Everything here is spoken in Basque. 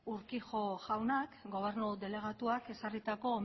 urquijo jaunak gobernu delegatuak ezarritako